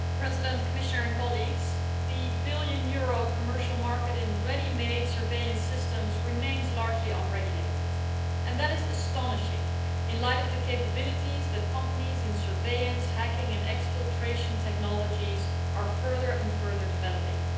Mr President, the billion euro commercial market in ready made surveillance systems remains largely unregulated, and that is astonishing in light of the capabilities that companies in surveillance, hacking and exfiltration technologies are further and further developing.